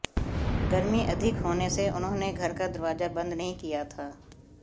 गर्मी अधिक होने से उन्होंने घर का दरवाजा बंद नहीं किया था